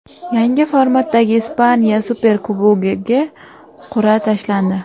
Yangi formatdagi Ispaniya Superkubogiga qur’a tashlandi.